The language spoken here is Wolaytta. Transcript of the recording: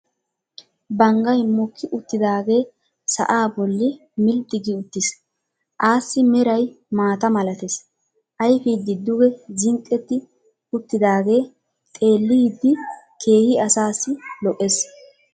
Banggay mokki uttidaagee sa'aa bolli milxxi gi uttiis. assi meray maata malatees. ayfidi duge zinqetti utidaagee xeeliyide keehi asassi lo'ees.